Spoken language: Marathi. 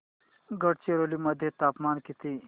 गडचिरोली मध्ये तापमान किती